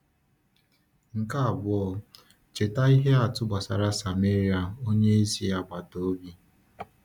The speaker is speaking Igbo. Nke abụọ, cheta ihe atụ gbasara Sameria onye ezi agbata obi.